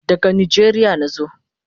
Daga Nijeria nazo